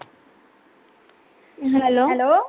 Hello